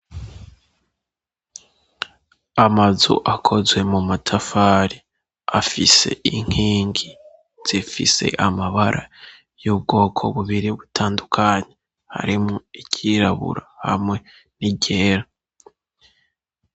Amazu akozwe mu matafari, afise inkingi zifise amabara y'ubwoko bubiri butandukanye, harimwo iryirabura hamwe n'iyera.